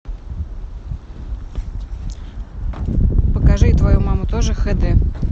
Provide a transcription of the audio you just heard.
покажи твою маму тоже хд